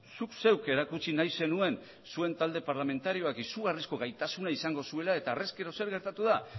zuk zeuk erakutsi nahi zenuen zuen talde parlamentarioak izugarrizko gaitasuna izango zuela eta harrezkero zer gertatu da